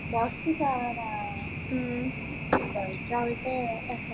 doctor കാവനാ